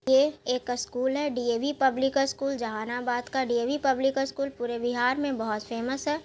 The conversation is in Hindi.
ये एक स्कूल है D A _V public school Jehanabad का डी_ए _वी पब्लिक स्कूल पूरे बिहार में बहोत फेमस है ।